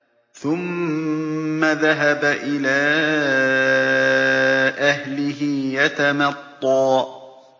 ثُمَّ ذَهَبَ إِلَىٰ أَهْلِهِ يَتَمَطَّىٰ